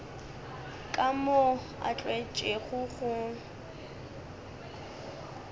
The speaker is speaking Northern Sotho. ka moo a tlwaetšego go